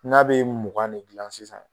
N'a bɛ mugan de gilan sisan.